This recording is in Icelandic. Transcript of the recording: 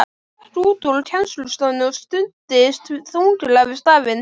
Hún gekk út úr kennslustofunni og studdist þunglega við stafinn.